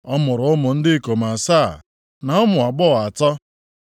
Ọ mụrụ ụmụ ndị ikom asaa na ụmụ agbọghọ atọ.